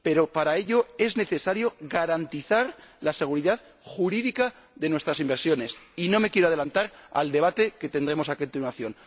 Pero, para ello, es necesario garantizar la seguridad jurídica de nuestras inversiones y no me quiero adelantar al debate que tendremos a continuación.